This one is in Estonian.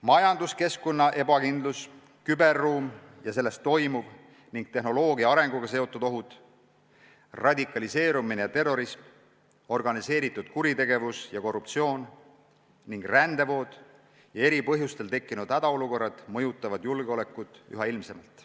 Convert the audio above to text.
Majanduskeskkonna ebakindlus, küberruum ja selles toimuv ning tehnoloogia arenguga seotud ohud, radikaliseerumine ja terrorism, organiseeritud kuritegevus ja korruptsioon ning rändevood ja eri põhjustel tekkinud hädaolukorrad mõjutavad julgeolekut üha ilmsemalt.